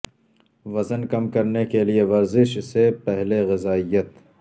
وزن کم کرنے کے لئے ورزش سے پہلے غذائیت